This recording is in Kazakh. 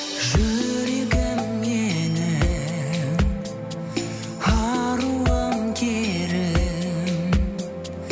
жүрегім менің аруым керім